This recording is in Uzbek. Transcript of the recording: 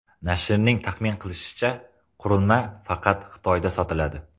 Nashrning taxmin qilishicha, qurilma faqat Xitoyda sotiladi.